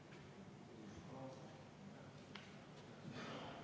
Panen hääletusele muudatusettepaneku nr 11.